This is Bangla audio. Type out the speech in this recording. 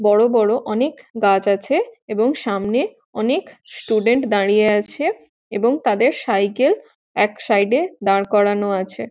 বড় বড় অনেক গাছ আছে এবং সামনে অনেক স্টুডেন্ট দাঁড়িয়ে আছে এবং তাদের সাইকেল এক সাইড এ দাঁড় করানো আছে।